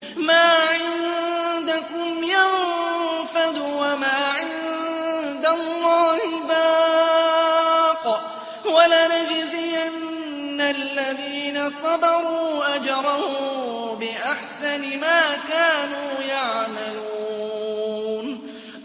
مَا عِندَكُمْ يَنفَدُ ۖ وَمَا عِندَ اللَّهِ بَاقٍ ۗ وَلَنَجْزِيَنَّ الَّذِينَ صَبَرُوا أَجْرَهُم بِأَحْسَنِ مَا كَانُوا يَعْمَلُونَ